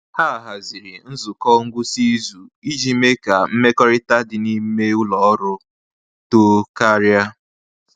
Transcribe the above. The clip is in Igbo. Ha haziri nzukọ ngwụsị izu iji mee ka mmekọrịta dị n’ime ụlọ ọrụ too karịa.